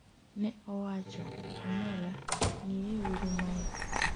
ne owacho,'omera, ng'iye uru mae